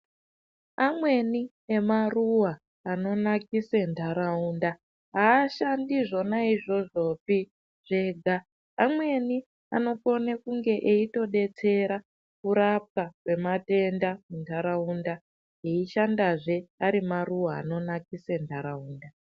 Amweni emaruwa anonakise nharaunda ashandizvonaizvozvopi zvega amweni anokone kunge eitodetsera kurapwa kwematenda munharaunda eishandazve ari maruwa anonakise nharaunda.